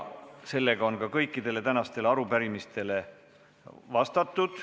Sellega on kõikidele tänastele arupärimistele vastatud.